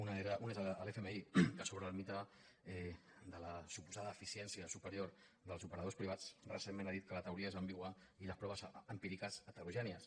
un és l’fmi que sobre el mite de la suposada eficiència superior dels operadors privats recentment ha dit que la teoria és ambigua i les proves empíriques heterogènies